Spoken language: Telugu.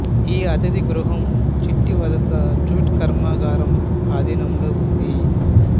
ఈ అతిథి గృహం చిట్టివలస జూట్ కర్మాగారం ఆధీనంలో ఉంది